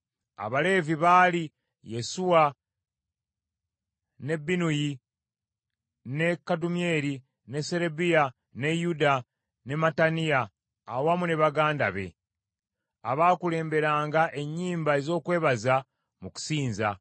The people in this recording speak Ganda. Abaleevi baali: Yesuwa, ne Binnuyi, ne Kadumyeri, ne Serebiya, ne Yuda ne Mattaniya awamu ne baganda be, abaakulemberanga ennyimba ez’okwebaza mu kusinza.